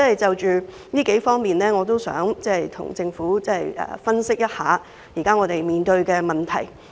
就此，我想跟政府分析一下我們當前面對的問題。